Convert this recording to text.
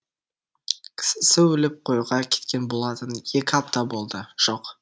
кісісі өліп қоюға кеткен болатын екі апта болды жоқ